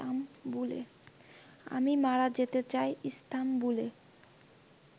আমি মারা যেতে চাই ইস্তাম্বুলে